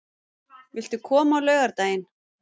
Viltu koma á laugardaginn?